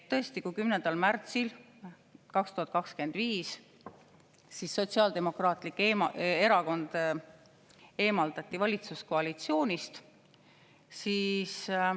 Tõesti, 10. märtsil 2025 Sotsiaaldemokraatlik Erakond eemaldati valitsuskoalitsioonist.